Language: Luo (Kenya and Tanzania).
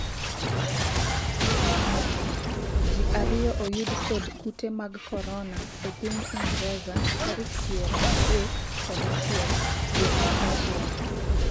ji ariyo oyud kod kute mag korona e piny Ingreza tarik piero adek kod achiel dwe mar achiel